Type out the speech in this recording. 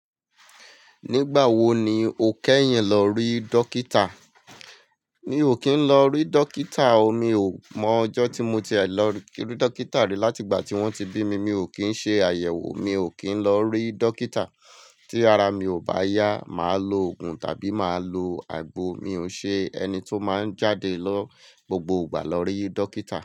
Nígbà wo ni o kẹ́yìn lọ rí dókítà? Mi ò kí ń lọ rí dókítà o. Mi ò mọ ọjọ́ tí mo ti ẹ lọ rí dókítà rí láti ìgbà tí wón ti bí mi. Mi ò kí ń ṣe àyẹ̀wò, mi ò kí ń lọ rí dókítà. Tí ara mi ò bá yá, màá lo òògùn tàbí màá lo àgbo. Mi ò ṣe ẹni tí ó máa ń jáde lọ gbogbo ìgbà lọ rí dókítà.